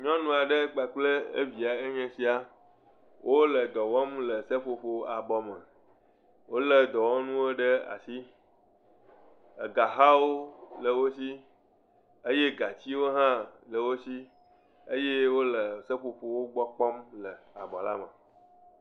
Nyɔnu aɖe kpakple evia enye esia, wole edɔ wɔm le seƒoƒoƒ bɔ me, wolé edɔwɔnuwo ɖe asi, ega hãwo le wo si eye gatsiwo hã le wo si eye wole seƒoƒowo gbɔ kpɔm le abɔ me.